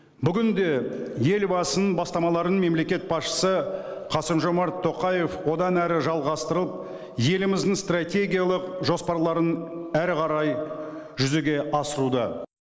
бүгін де елбасының бастамаларын мемлекет басшысы қасым жомарт тоқаев одан әрі жалғастырып еліміздің стратегиялық жоспарларын әрі қарай жүзеге асыруда